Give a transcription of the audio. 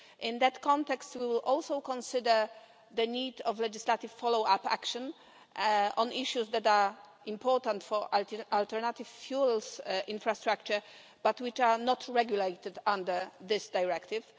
In that context, we will also consider the need for legislative follow up action on issues that are important for alternative fuels infrastructure but which are not regulated under this directive.